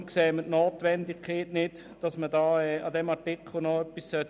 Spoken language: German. Deshalb sehen wir keine Notwendigkeit, an diesem Artikel noch etwas zu ändern.